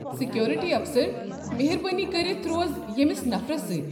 Security افسر، مہربٲنی کٔرتھ روز ییٚمس نفرس سۭتۍ۔